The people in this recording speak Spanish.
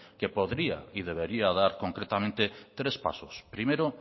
que podría y debería dar concretamente tres pasos primero